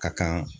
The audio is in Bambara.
Ka kan